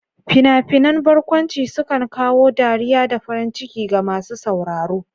Fina-finan barkwanci sukan kawo dariya da farin ciki ga masu sauraro.